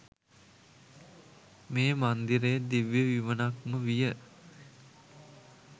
මේ මන්දිරය දිව්‍ය විමනක්ම විය.